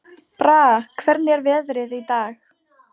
Braga, hvernig er veðrið í dag?